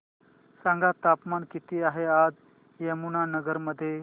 सांगा तापमान किती आहे आज यमुनानगर मध्ये